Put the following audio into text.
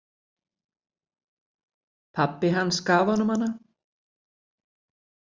Pabbi hans gaf honum hana.